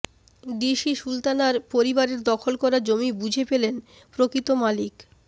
DC সুলতানার পরিবারের দখল করা জমি বুঝে পেলেন প্রকৃত মালিক